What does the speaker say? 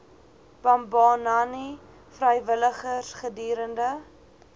bambanani vrywilligers gedurende